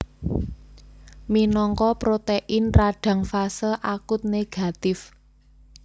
Minangka protein radang fase akut négatif